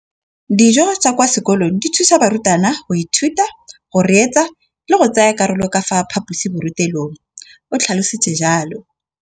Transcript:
Dijo tsa kwa sekolong dithusa barutwana go ithuta, go reetsa le go tsaya karolo ka fa phaposiborutelong, o tlhalositse jalo.